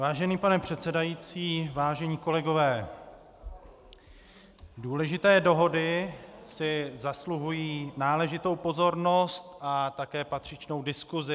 Vážený pane předsedající, vážení kolegové, důležité dohody si zasluhují náležitou pozornost a také patřičnou diskusi.